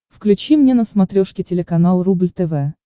включи мне на смотрешке телеканал рубль тв